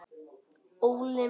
ÓLI MINN.